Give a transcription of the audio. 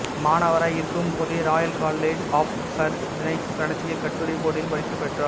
மாணவராய் இருக்கும் போதே royal college of surgeons நடத்திய கட்டுரைப் போட்டியில் பரிசு பெற்றார்